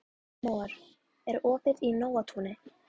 Amor, er opið í Nóatúni?